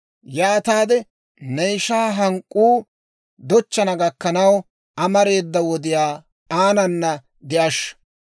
Yaataade ne ishaa hank'k'uu dochchana gakkanaw, amareeda wodiyaa aanana de'ashsha.